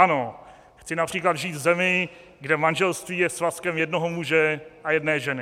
Ano, chci například žít v zemi, kde manželství je svazkem jednoho muže a jedné ženy.